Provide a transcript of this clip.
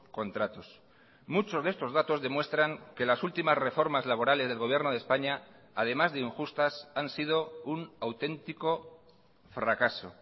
contratos muchos de estos datos demuestran que las últimas reformas laborales del gobierno de españa además de injustas han sido un auténtico fracaso